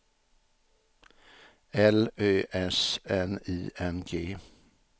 L Ö S N I N G